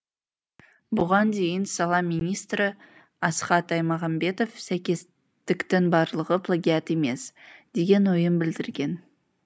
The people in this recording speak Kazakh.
бұған дейін сала министрі асхат аймағамбетов сәйкестіктің барлығы плагиат емес деген ойын білдірген